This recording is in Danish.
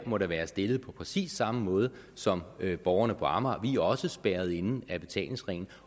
må da være stillet på præcis samme måde som borgerne på amager vi er også spærret inde af betalingsringen